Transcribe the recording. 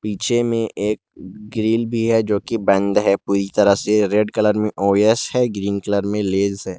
पीछे में एक ग्रिल भी है जो कि बंद है पूरी तरह से रेड कलर में ओ यस है ग्रीन कलर में लेज है।